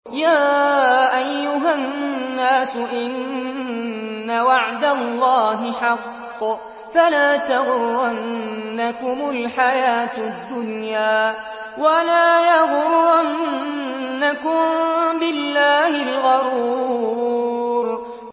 يَا أَيُّهَا النَّاسُ إِنَّ وَعْدَ اللَّهِ حَقٌّ ۖ فَلَا تَغُرَّنَّكُمُ الْحَيَاةُ الدُّنْيَا ۖ وَلَا يَغُرَّنَّكُم بِاللَّهِ الْغَرُورُ